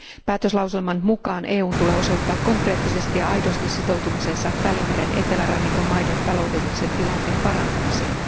Päätöslauselman mukaan EUn tulee osoittaa konkreettisesti ja aidosti sitoutumisensa Välimeren etelärannikon maiden taloudellisen tilanteen parantamiseen.